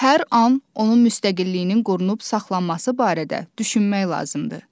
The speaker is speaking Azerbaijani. Hər an onun müstəqilliyinin qorunub saxlanması barədə düşünmək lazımdır.